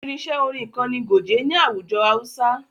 Irinṣẹ́ orin kan ni goge ni àwùjọ hausa.